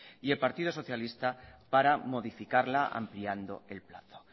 y el partido socialista para modificarla ampliando el plazo